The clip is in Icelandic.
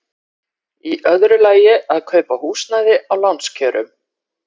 Í öðru lagi að kaupa húsnæði á lánskjörum.